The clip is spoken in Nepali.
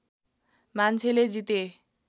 मान्छेले जिते